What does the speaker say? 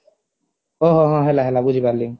ଓହୋ ହଁ ହେଲା ହେଲା ବୁଝିପାରିଲି